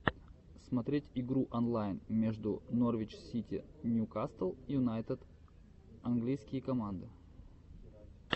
смотреть игру онлайн между норвич сити ньюкасл юнайтед английские команды